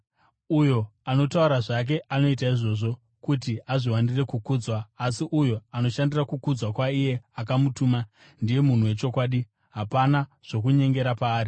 Uyo anotaura zvake anoita izvozvo kuti azviwanire kukudzwa, asi uyo anoshandira kukudzwa kwaiye akamutuma ndiye munhu wechokwadi; hapana zvokunyengera paari.